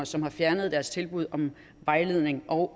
som har fjernet deres tilbud om vejledning og